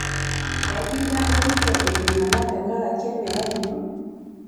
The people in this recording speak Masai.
Enkitagorito iltung'ana tenkaraki emerai ino?